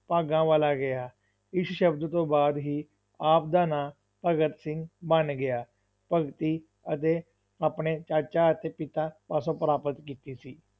ਭਾਗਾਂ ਵਾਲਾ ਕਿਹਾ, ਇਸ ਸ਼ਬਦ ਤੋਂ ਬਾਅਦ ਹੀ ਆਪ ਦਾ ਨਾਂ ਭਗਤ ਸਿੰਘ ਬਣ ਗਿਆ, ਭਗਤੀ ਅਤੇ ਆਪਣੇ ਚਾਚਾ ਅਤੇ ਪਿਤਾ ਪਾਸੋਂ ਪ੍ਰਾਪਤ ਕੀਤੀ ਸੀ।